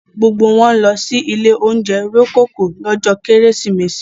Gbogbo wọn ń lọ sí ilé-oúnjẹ Rococo lọ́jọ́ Kérésìmesì.